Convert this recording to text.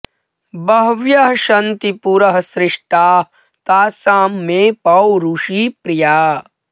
बह्व्यः सन्ति पुरः सृष्टाः तासां मे पौरुषी प्रिया